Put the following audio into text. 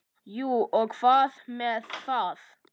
Jú, og hvað með það?